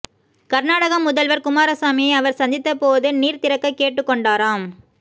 கர்நாடக முதல்வர் குமாரசாமியை அவர் சந்தித்த போது நீர் திறக்க கேட்டுக் கொண்டாராம்